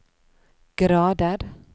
grader